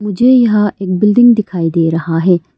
मुझे यहां एक बिल्डिंग दिखाई दे रहा है।